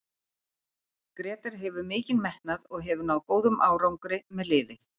Grétar hefur mikinn metnað og hefur náð góðum árangri með liðið.